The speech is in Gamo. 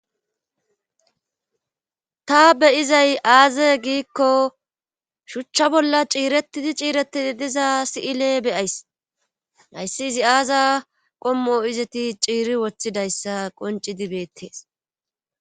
ta beyizay aaze giikko shuchcha bolla ciiretidi ciireti diza si7ile beyays nayssi izi aaza qommo izeti ciiri woththidayssa qoncidi beettees